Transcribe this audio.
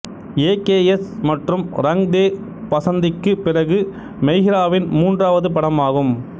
AKS மற்றும் ரங் தே பசந்திக்குப் பிறகு மெஹ்ராவின் மூன்றாவது படமாகும்